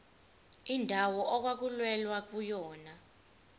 indawo okwakulwelwa kuyona